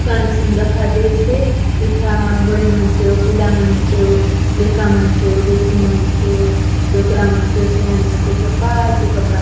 दुकान असन दखा देयसे एथा बड़े मन चो पीला मन चो लेका मन चो लेकि मन चो डोकरा मन चो सियान मन चो सपाय चो कपड़ा --